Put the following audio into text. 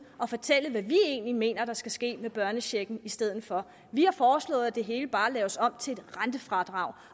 og fortælle hvad vi egentlig mener der skal ske med børnechecken stedet for vi har foreslået at det hele bare laves om til et rentefradrag